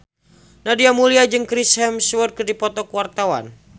Nadia Mulya jeung Chris Hemsworth keur dipoto ku wartawan